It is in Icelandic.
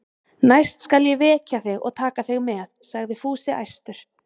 Næst skal ég vekja þig og taka þig með, sagði Fúsi æstur.